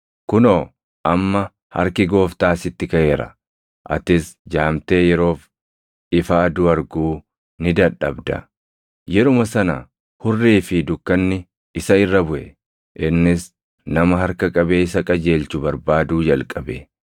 Kunoo amma harki Gooftaa sitti kaʼeera; atis jaamtee yeroof ifa aduu arguu ni dadhabda.” Yeruma sana hurrii fi dukkanni isa irra buʼe; innis nama harka qabee isa qajeelchu barbaaduu jalqabe.